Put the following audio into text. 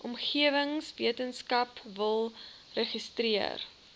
omgewingswetenskap wil registreer